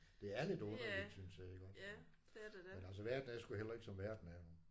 Det er lidt underligt synes jeg iggå. Men altså verden er sgu heller ikke som verden er